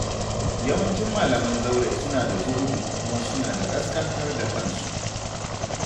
Yawancin malaman zaure suna da zuhudu, kuma suna da ƙasƙantar da kansu.